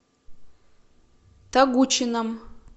тогучином